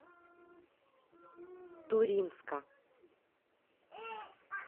туринска